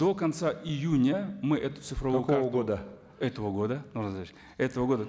до конца июня мы эту цифровую года этого года нурлан зайроллаевич этого года